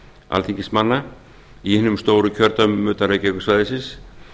alþingismanna í hinum stóru kjördæmum utan reykjavíkursvæðisins